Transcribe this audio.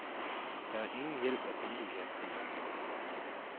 Der er ingen hjælp at hente i april.